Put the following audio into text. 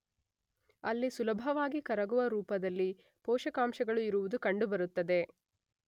ಅಲ್ಲಿ ಸುಲಭವಾಗಿ ಕರಗುವ ರೂಪದಲ್ಲಿ ಪೋಷಕಾಂಶಗಳು ಇರುವುದು ಕಂಡು ಬರುತ್ತದೆ.